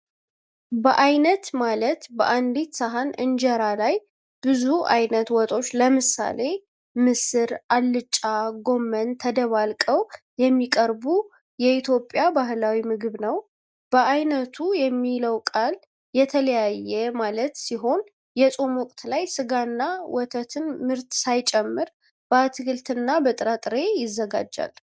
በየአይነት ማለት በአንዲት ሰሃን እንጀራ ላይ ብዙ አይነት ወጦች (ለምሳሌ ምስር፣ አልጫ፣ ጎመን) ተደባልቀው የሚቀርቡ የኢትዮጵያ ባህላዊ ምግብ ነው። "በየአይነቱ" የሚለው ቃል "የተለያየ" ማለት ሲሆን፣ የጾም ወቅት ላይ ስጋና የወተት ምርት ሳይጨምር በአትክልትና በጥራጥሬ ይዘጋጃል።